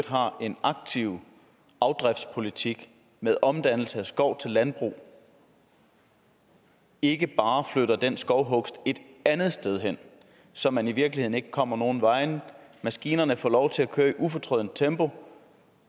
har en aktiv afdriftspolitik med omdannelse af skov til landbrug ikke bare flytter den skovhugst et andet sted hen så man i virkeligheden ikke kommer nogen vegne maskinerne får lov til at køre i et ufortrødent tempo og